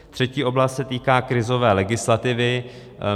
Třetí oblast se týká krizové legislativy.